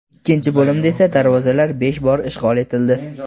Ikkinchi bo‘limda esa darvozalar besh bor ishg‘ol etildi.